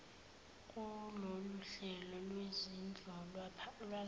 kuloluhlelo lwezindlu lwalapha